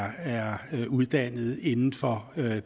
uddannet inden for